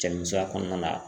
Cɛ ni musoya kɔnɔna na.